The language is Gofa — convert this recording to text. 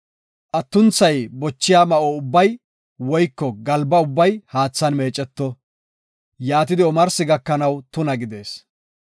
Atunthay bochida ma7o ubbay woyko galba ubbay haathan meeceto; yaatidi omarsi gakanaw tuna gidees.